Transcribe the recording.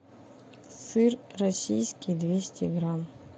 сыр российский двести грамм